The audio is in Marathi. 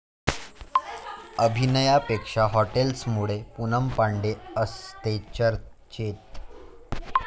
अभिनयापेक्षा हॉटनेसमुळे पूनम पांडे असते चर्चेत